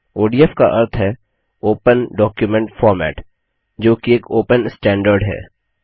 ODF का अर्थ है ओपन डॉक्युमेंट फॉर्मेट जो कि एक ओपन स्टैंडर्ड है